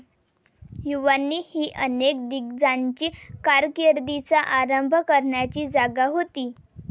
युवावानी ही अनेक दिग्गजांची कारकिर्दीचा आरंभ करण्याची जागा होती.